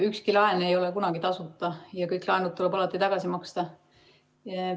Ükski laen ei ole kunagi tasuta ja kõik laenud tuleb alati tagasi maksta.